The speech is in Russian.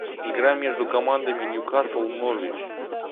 игра между командами ньюкасл норвич